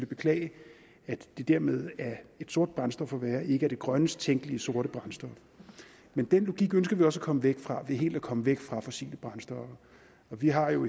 beklage at det dermed af et sort brændstof at være ikke er det grønnest tænkelige sorte brændstof men den logik ønsker vi også at komme væk fra ved helt at komme væk fra fossile brændstoffer og vi har jo